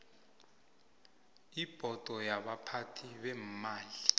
ibhodo yabaphathi beemali